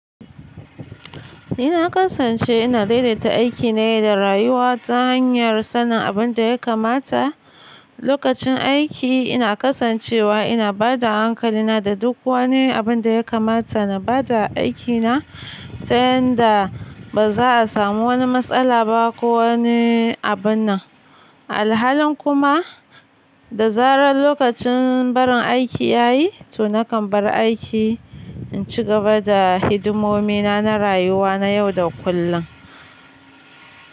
Na kasance ina daidaita aikina ne da rayuwa ta hanyar sanin abin da ya kamata. Lokacin aiki, Ina kasancewa ina ba da hankalina da duk wani abin da ya kamata na ba da aikina, tayarda ba za'a samu wani matsala ba ko wane abun nan, alhalin kuma, da zarar lokacin barin aiki ya yi, to nakan bar aiki in ci gaba da hidimomina na rayuwa na yau da kullum.